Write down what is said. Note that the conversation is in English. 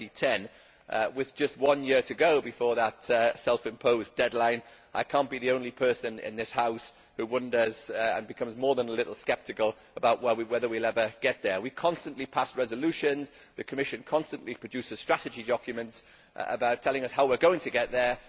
2010. With just one year to go before that self imposed deadline, I cannot be the only person in this House who wonders, and becomes more than a little sceptical, about whether we will ever get there. We constantly pass resolutions and the Commission constantly produces strategy documents telling us how we are going to get there.